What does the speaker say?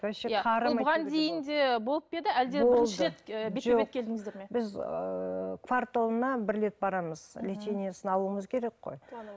вообще біз ыыы кварталына бір рет барамыз лечениесін алуымыз керек қой